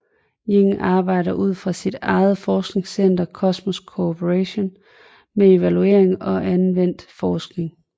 Yin arbejder ud fra sit eget forskningscenter Cosmos Corporation med evaluering og anvendt forskning